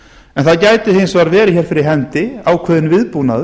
en það gæti hins vegar verið hér fyrir hendi ákveðinn viðbúnaður